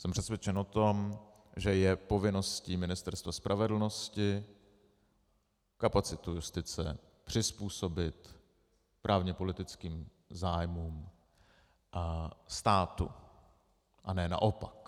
Jsem přesvědčen o tom, že je povinností Ministerstva spravedlnosti kapacitu justice přizpůsobit právně-politickým zájmům státu, a ne naopak.